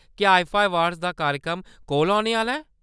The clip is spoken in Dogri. क्या आईफा अवार्ड्स दा कार्यक्रम कोल औने आह्‌‌‌ला ऐ ?